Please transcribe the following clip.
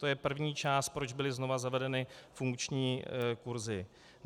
To je první část, proč byly znovu zavedeny funkční kurzy.